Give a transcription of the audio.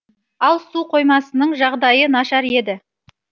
ал су қоймасының жағдайы нашар еді